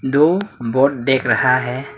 दो बोट देख रहा है।